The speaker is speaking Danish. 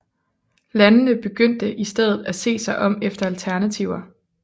Landene begyndte i stedet at se sig om efter alternativer